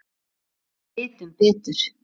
Við vitum betur.